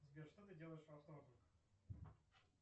сбер что ты делаешь во вторник